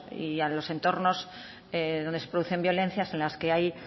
y a los entornos donde se producen violencias en las que hay